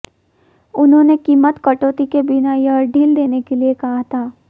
उन्होंने कीमत कटौती के बिना यह ढील देने के लिए कहा था